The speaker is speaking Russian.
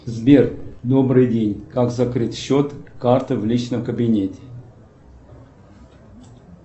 сбер добрый день как закрыть счет карты в личном кабинете